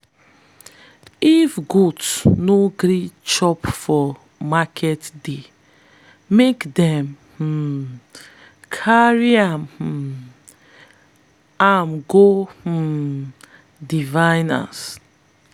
if goat no gree chop for market day make them um carry um am go um diviner.